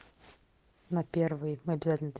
на